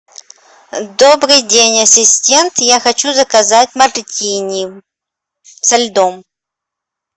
добрый день ассистент я хочу заказать мартини со льдом